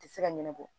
Tɛ se ka ɲɛnabɔ